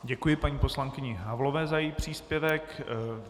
Děkuji paní poslankyni Havlové za její příspěvek.